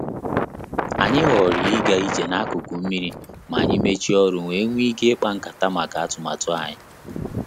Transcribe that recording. Anyị ghọrọ ịga ije n'akụkụ mmiri ma anyị mechie ọrụ wee nwee ike ikpa nkata maka atụmatụ anyị